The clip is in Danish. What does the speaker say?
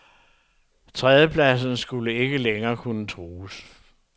Tredjepladsen skulle ikke længere kunne trues.